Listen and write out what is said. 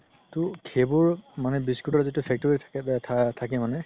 তৌ সেইবোৰ biscuit ৰ মানে যিতো factory থাকে থাকে মানে